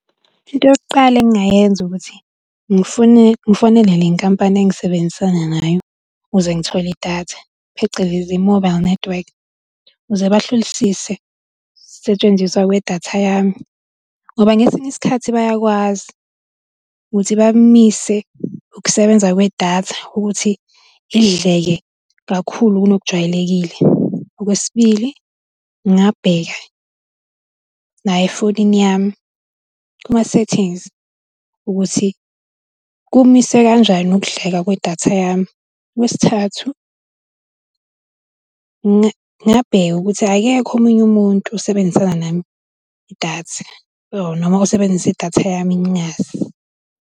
Into yokuqala engingayenza ukuthi ngifone ngifonela le nkampani esisebenzisana nayo ukuze ngithole idatha, phecelezi i-mobile network ukuze bahlolisise setshenziswa kwedatha yami ngoba ngesinye isikhathi bayakwazi ukuthi bamise ukusebenza kwedatha ukuthi idleke kakhulu kunokujwayelekile. Okwesibili, ngingabeka nayo efonini yami kuma-settings ukuthi kumiswe kanjani ukuhleka kwedatha yami. Okwesithathu, ngingabheka ukuthi akekho omunye umuntu osebenzisana nami idatha or noma osebenzisa idatha yami ngingazi.